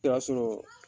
I b'a sɔrɔ